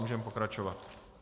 Můžeme pokračovat.